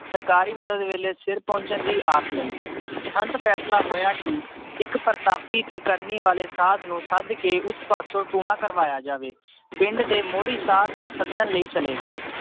ਸਰਕਾਰੀ ਮਦਦ ਵੇਲੇ ਸਿਰ ਪਹੁੰਚਣ ਦੀ ਆਸ ਨਹੀਂ ਅੰਤ ਫੈਸਲਾ ਹੋਇਆ ਕਿ ਇੱਕ ਪ੍ਰਤਾਪੀ ਤੇ ਕਰਨੀ ਵਾਲੇ ਸਾਧ ਨੂੰ ਸੱਦ ਕੇ ਉਸ ਪਾਸੋਂ ਟੂਣਾ ਕਰਵਾਇਆ ਜਾਵੇ ਪਿੰਡ ਦੇ ਮੋਹਰੀ ਸਾਧ ਨੂੰ ਸੱਦਣ ਲਈ ਚਲੇ ਗਏ